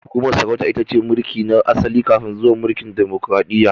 Hukumar sarauta itace mulki na asali kafin zuwan mulkin demokaradiyya